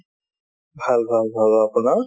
ভাল ভাল ভাল আৰু আপোনাৰ ?